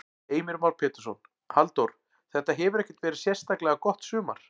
Heimir Már Pétursson: Halldór, þetta hefur ekkert verið sérstaklega gott sumar?